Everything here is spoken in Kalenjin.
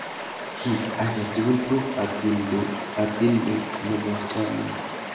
kit ak atugul ko atindet nebo chamiet